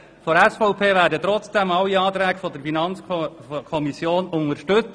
Wir von der SVP werden trotzdem alle Anträge der FiKo unterstützen.